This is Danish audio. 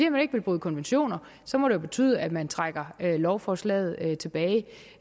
at man ikke vil bryde konventioner så må det betyde at man trækker lovforslaget tilbage det